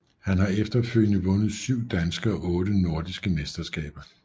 Han har efterfølgende vundet syv danske og otte nordiske mesterskaber